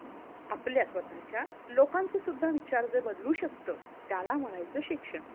आपल्या स्वतःच्या लोकांचे सुद्धा विचार जे बदलू शकत त्याला म्हणायचं शिक्षण.